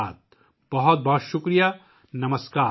بہت بہت شکریہ، نسمکار !